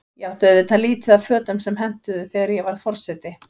Ég átti auðvitað lítið af fötum sem hentuðu, þegar ég varð forseti.